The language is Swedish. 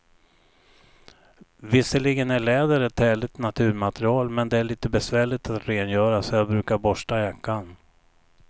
Visserligen är läder ett härligt naturmaterial, men det är lite besvärligt att rengöra, så jag brukar borsta jackan.